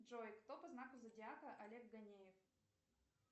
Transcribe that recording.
джой кто по знаку зодиака олег гонеев